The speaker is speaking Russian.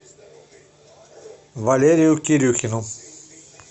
валерию кирюхину